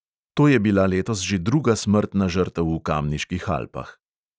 To je bila letos že druga smrtna žrtev v kamniških alpah.